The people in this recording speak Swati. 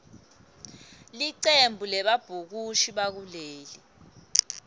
licembu lebabhukushi bakuleli